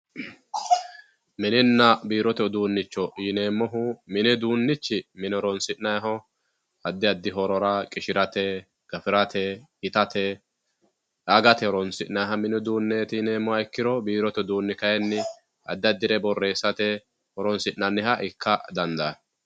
mininna biirote uduunnicho yineemmohu mini uduunnichi mine horonsi'naayiiho addi addi horora itate agate qishirate gafirate itate agate horonsi'nayiiha mini uduunneeti yinayiiha ikkiro biirote uduunnichi addi addi borro borreessate horonsi'nayiiha ikkara dandaanno